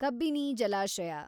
ಕಬ್ಬಿನಿ ಜಲಾಶಯ